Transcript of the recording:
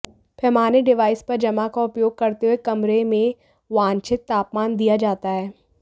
पैमाने डिवाइस पर जमा का उपयोग करते हुए कमरे में वांछित तापमान दिया जाता है